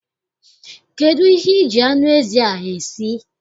Kedụ ihe I ji anụ ezi a esi?